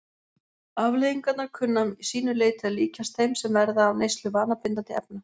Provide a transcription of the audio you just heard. Afleiðingarnar kunna að sínu leyti að líkjast þeim sem verða af neyslu vanabindandi efna.